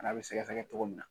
N'a bɛ sɛgɛsɛgɛ cogo min na